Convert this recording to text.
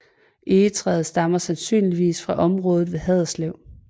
Egetræet stammer sandsynligvis fra området ved Haderslev